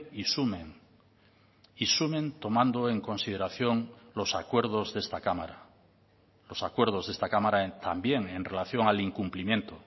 y sumen y sumen tomando en consideración los acuerdos de esta cámara los acuerdos de esta cámara también en relación al incumplimiento